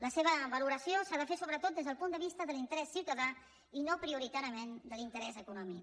la seva valoració s’ha de fer sobretot des del punt de vista de l’interès ciutadà i no prioritàriament de l’interès econòmic